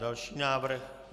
Další návrh.